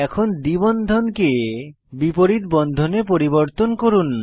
এখন দ্বি বন্ধনকে বিপরীত বন্ধনে পরিবর্তন করুন